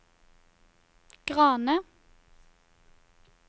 Grane